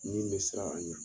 Ni bɛ siran a ɲɛ